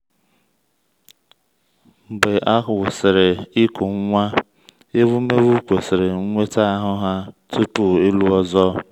mgbe a gwụsịrị ịkụ nwa ewumewụ kwesịrị nweta ahụ́ ha tupu ịlụ ọzọ.